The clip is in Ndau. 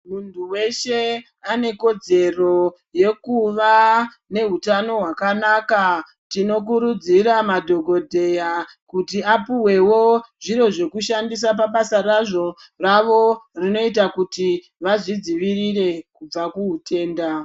Muntu weshe ane kodzero yekuva nehutano hwakanaka tinokurudzira madhokodheya kuti apuwewo zviro zvekushandisa pabasa razvo ravo rinoita kuti vazvidzivirire kubva muhutenda.